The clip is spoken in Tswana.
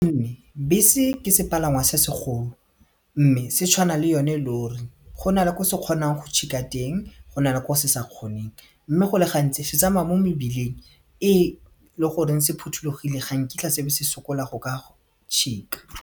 Bese ke sepalangwa se segolo mme se tshwana le yone lori go na le ko se kgonang go tšhika teng go na le ko se sa kgoneng mme go le gantsi se tsamaya mo mebileng e le goreng se phuthulogile ga nkitla se be se sokola go ka tšhika.